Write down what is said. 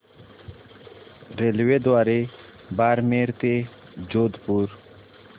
रेल्वेद्वारे बारमेर ते जोधपुर